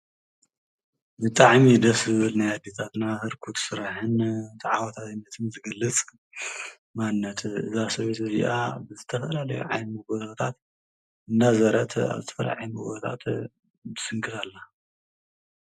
ብጣዕሚ ደስ ልብል ናይ ኣዴታትና ህርኩት ሥራሕን ተዓዋታይነትን ዝገልጽ ማንነት እዛ ሰበይቲ እዘኣ ብዝተፈልለዩ ዓይነት ጐቦታት እናዘረት ኣብቲ ዓበይቲ ጐቦታት ትምስክር ኣላ።